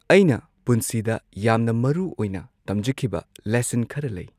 ꯑꯩꯅ ꯄꯨꯟꯁꯤꯗ ꯌꯥꯝꯅ ꯃꯔꯨꯑꯣꯏꯅ ꯇꯝꯖꯈꯤꯕ ꯂꯦꯁꯟ ꯈꯔ ꯂꯩ꯫